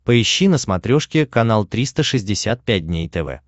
поищи на смотрешке канал триста шестьдесят пять дней тв